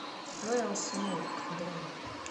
роял смоук бронь